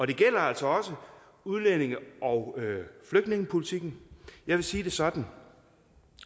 det gælder altså også udlændinge og flygtningepolitikken jeg vil sige det sådan